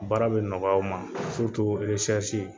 Baara bɛ nɔgɔya o ma